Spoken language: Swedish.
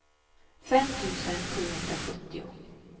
fem tusen sjuhundrasjuttio